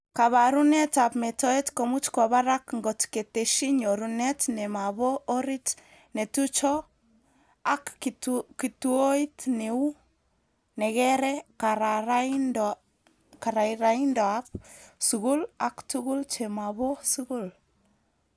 Kabarunetab metoet komuch kwo barak ngot keteshi nyorunet nemabo orit netucho ak kituoit neu nekere kararaindoab skul aktuguk chemabo skul